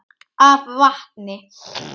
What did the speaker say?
af vatni.